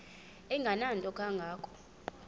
engenanto kanga ko